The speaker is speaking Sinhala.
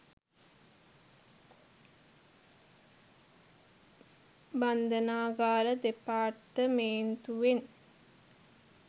බන්දනාගාර දෙපර්තමේන්තුවෙං